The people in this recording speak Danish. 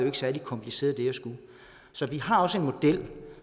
er særlig kompliceret så vi har også en model